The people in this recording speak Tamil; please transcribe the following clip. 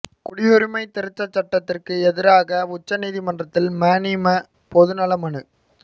குடியுரிமைத் திருத்தச் சட்டத்திற்கு எதிராக உச்சநீதிமன்றத்தில் மநீம பொது நல மனு